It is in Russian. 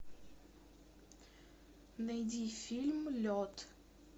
найди фильм лед